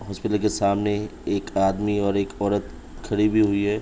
Hospital के सामने एक आदमी और एक औरत खड़ी भी हुई है।